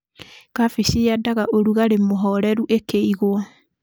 Kabeci yendaga ũrugarĩ mũhoreru ĩkĩigwo..